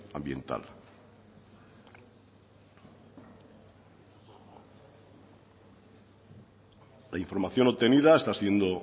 ambiental la información obtenida está siendo